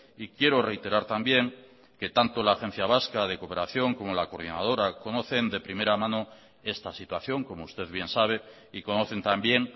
y quiero reiterar también que tanto la agencia vasca de cooperación como la coordinadora conocen de primera mano esta situación como usted bien sabe y conocen también